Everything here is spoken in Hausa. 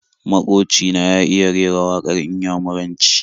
Maƙoci na ya iya rera waƙar Inyamuranci.